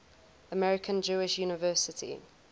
american jewish university